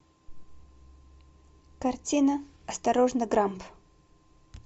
картина осторожно грамп